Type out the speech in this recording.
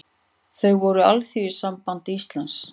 Þau voru Alþýðusamband Íslands